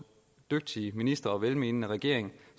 dygtige ministre og velmenende regering